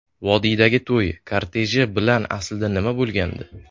Vodiydagi to‘y korteji bilan aslida nima bo‘lgandi?